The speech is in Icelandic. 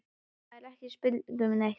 Það er ekki spurt um neitt.